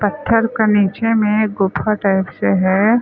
पत्थर का नीचे में गुफा टाइप से हैं।